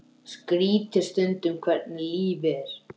Sami ljóminn umlukti ykkur báðar.